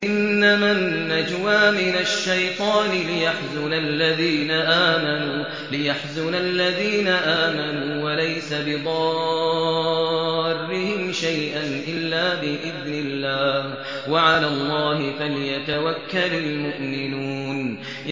إِنَّمَا النَّجْوَىٰ مِنَ الشَّيْطَانِ لِيَحْزُنَ الَّذِينَ آمَنُوا وَلَيْسَ بِضَارِّهِمْ شَيْئًا إِلَّا بِإِذْنِ اللَّهِ ۚ وَعَلَى اللَّهِ فَلْيَتَوَكَّلِ الْمُؤْمِنُونَ